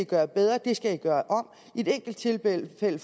gøre bedre at det skal man gøre om i et enkelt tilfælde